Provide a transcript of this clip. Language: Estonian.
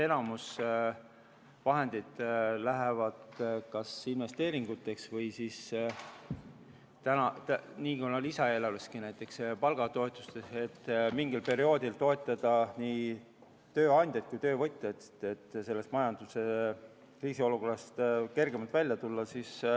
Enamus laenuvahendeid läheb kas investeeringuteks või siis näiteks palgatoetusteks, et mingil perioodil toetada nii tööandjaid kui töövõtjaid, et sellest majanduse kriisiolukorrast kergemalt välja tulla.